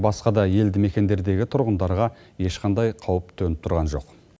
басқа да елді мекендердегі тұрғындарға ешқандай қауіп төніп тұрған жоқ